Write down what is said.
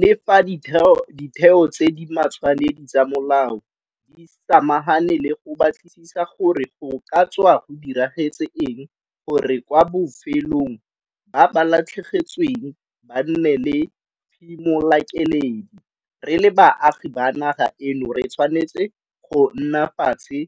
Le fa ditheo tse di matshwanedi tsa molao di samagane le go batlisisa gore go ka tswa go diragetse eng gore kwa bofelong ba ba latlhegetsweng ba nne le phimolakeledi, re le baagi ba naga eno re tshwanetse go nna fatshe